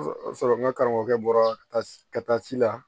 sɔrɔ n ka karamɔgɔkɛ bɔra ka taa ci la